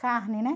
Carne, né?